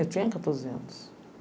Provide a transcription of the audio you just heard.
Eu tinha quatorze anos.